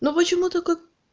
но почему-то как